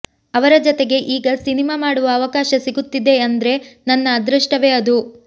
ಅವರ ಜತೆಗೆ ಈಗ ಸಿನಿಮಾ ಮಾಡುವ ಅವಕಾಶ ಸಿಗುತ್ತಿದೆ ಅಂದ್ರೆ ನನ್ನ ಅದೃಷ್ಟವೇ ಅದು